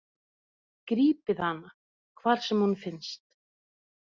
Grípið hana, hvar sem hún finnst!